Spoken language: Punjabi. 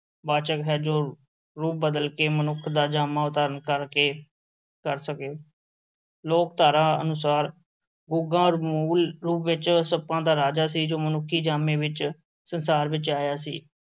ਵਾਚਕ ਹੈ ਜੋ ਰੂਪ ਬਦਲ ਕੇ, ਮਨੁੱਖ ਦਾ ਜਾਮਾ ਧਾਰਨ ਕਰਕੇ ਕਰ ਸਕੇ, ਲੋਕ-ਧਾਰਾ ਅਨੁਸਾਰ, ਗੁੱਗਾ ਮੂਲ ਰੂਪ ਵਿੱਚ ਸੱਪਾਂ ਦਾ ਰਾਜਾ ਸੀ, ਜੋ ਮਨੁੱਖੀ ਜਾਮੇ ਵਿੱਚ ਸੰਸਾਰ ਵਿੱਚ ਆਇਆ ਸੀ।